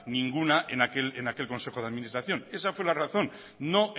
ninguna en aquel consejo de administración esa fue la razón no